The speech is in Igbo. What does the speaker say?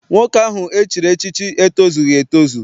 Nwoke ahụ e chiri echichi etozughi etozu.